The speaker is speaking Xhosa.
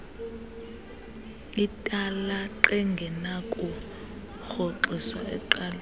italaq engenakurhoxiswa eqalisa